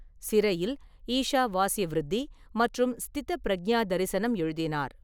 சிறையில் ஈஷாவாஸ்யவிருத்தி மற்றும் ஸ்திதப்ரஜ்ஞா தரிசனம் எழுதினார்.